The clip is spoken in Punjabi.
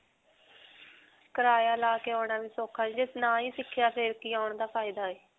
ਕਰਾਇਆ ਲਾ ਕੇ ਆਉਣਾ ਵੀ ਸੌਖਾ ਨਹੀਂ ਜੇ ਨਾ ਹੀ ਸਿਖਿਆ ਫਿਰ ਕਿ ਆਉਣ ਦਾ ਫਾਇਦਾ ਹੈ.